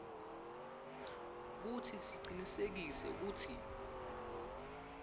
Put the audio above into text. kutsi sicinisekise kutsi